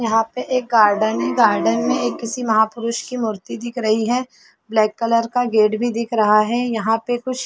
यहाँ पे एक गार्डन है गार्डन में एक किसी महापुरुष की मूर्ति दिख रही है ब्लैक कलर का गेट भी दिख रहा है यहाँ पे कुछ--